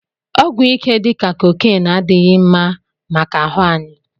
Ọgwụ ike dika cocaịnee adighi mma maka ahụ anyi